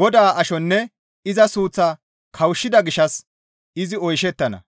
Godaa ashonne iza suuththaa kawushshida gishshas izi oyshettana.